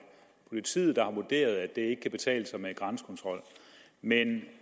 politiet der har vurderet at det ikke kan betale sig med grænsekontrol men